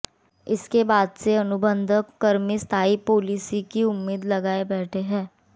इसके बाद से अनुबंध कर्मी स्थायी पालिसी की उम्मीद लगाए बैठे हंै